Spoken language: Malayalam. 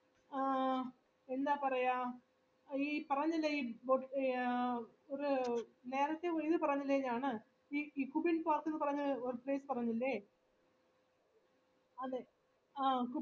നേരത്തെ ഒര് പേരുപറഞ്ഞില്ലേ ഞാന് ഈ കുബിൻ park ന്ന് പറഞ്ഞ പേര്പറഞ്ഞില്ലേ അതെ കുബിൻ park ആ അവിടെ അതുണ്ടാക്കിയ രാജാവുണ്ടല്ലോ ഈ മഹരാജ